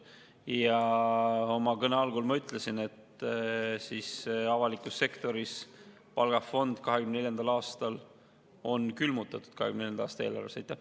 Ja oma kõne algul ma ütlesin, et avaliku sektori palgafond on 2024. aasta eelarves külmutatud.